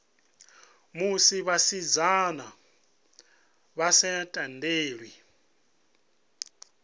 musi vhasidzana vha sa tendelwi